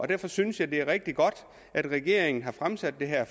derfor synes jeg det er rigtig godt at regeringen har fremsat det her